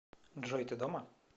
джой ты дома